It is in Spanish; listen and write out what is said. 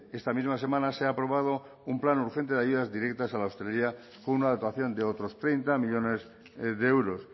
esta misma semana se ha aprobado un plan urgente de ayudas directas a la hostelería con una dotación de otros treinta millónes de euros